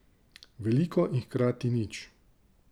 Veliko in hkrati nič.